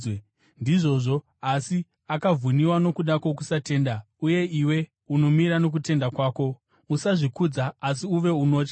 Ndizvozvo. Asi akavhuniwa nokuda kwokusatenda, uye iwe unomira nokutenda kwako. Usazvikudza, asi uve nokutya.